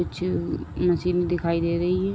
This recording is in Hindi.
कुछ मशीनें दिखाई दे रही हैं।